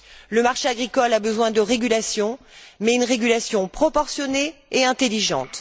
Le marché agricole a besoin de régulation, mais une régulation proportionnée et intelligente.